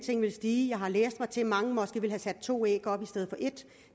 vil stige jeg har læst mig til at mange måske vil have sat to æg op i stedet for et